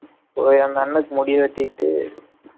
போய் அந்த அண்ணனுக்கு முடி வெட்டிட்டு